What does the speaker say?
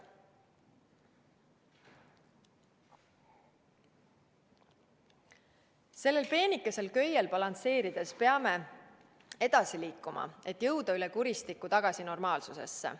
Sellel peenikesel köiel balansseerides peame edasi liikuma, et jõuda üle kuristiku tagasi normaalsusesse.